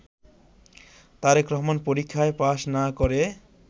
Tarique Rahman pass পাশ না করে